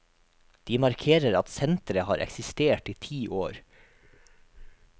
De markerer at senteret har eksistert i ti år.